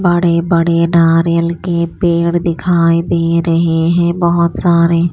बड़े बड़े नारियल के पेड़ दिखाई दे रहे हैं बहुत सारे।